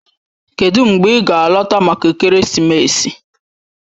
Kedụ mgbe ị ga-alọta maka ekeresimesi?